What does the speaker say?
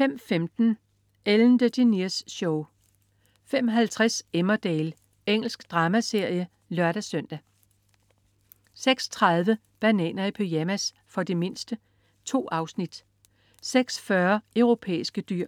05.15 Ellen DeGeneres Show 05.50 Emmerdale. Engelsk dramaserie (lør-søn) 06.30 Bananer i pyjamas. For de mindste. 2 afsnit 06.40 Europæiske dyr